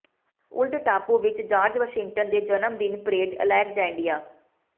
old ਟਾਪੂ ਵਿੱਚ George Washington ਦੇ ਜਨਮਦਿਨ ਪਰੇਡ ਅਲੇਕਜੇਨਡਿਆ